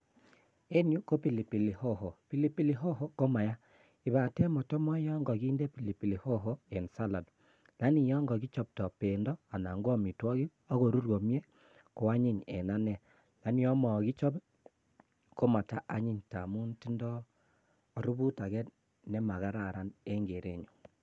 En yuh ko pilipili hoho, pilipili hoho komayaa. Kobaten motomoche yon kokinden pilipili hoho eng salad. Kobaten yon ko kichobtoo bendo anan ko amitwogiik ak korur komie koanyiny eng ane, lakini yon mokichob komataa anyin ngamin tindoo aribuut age nemakararan eng keerenyun.